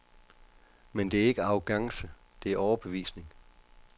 Men det er ikke arrogance, det er overbevisning.